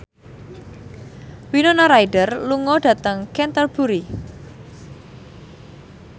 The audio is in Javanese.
Winona Ryder lunga dhateng Canterbury